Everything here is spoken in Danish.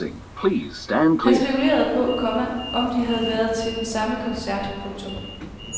Han spekulerede på, komma om de havde været til den samme koncert. punktum